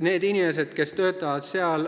Need inimesed, kes seal töötavad,